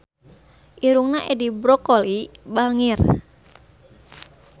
Irungna Edi Brokoli bangir